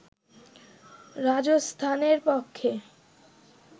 রাজস্থানের পক্ষে